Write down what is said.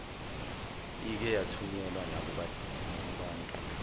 ike yathunyelwa nakubantu